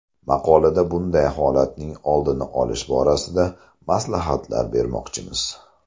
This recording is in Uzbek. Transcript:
Maqolada bunday holatning oldini olish borasida maslahatlar bermoqchimiz.